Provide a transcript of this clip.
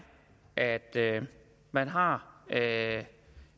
at man har